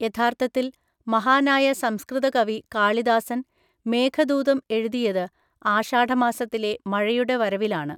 യഥാർത്ഥത്തിൽ, മഹാനായ സംസ്കൃത കവി കാളിദാസൻ മേഘദൂതം എഴുതിയത് ആഷാഢമാസത്തിലെ മഴയുടെ വരവിലാണ്.